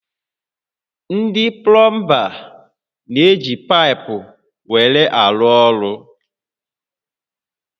Ndị plọmba n'eji paịpụ were arụ ọrụ